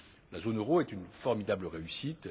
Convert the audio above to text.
La zone euro est une formidable réussite.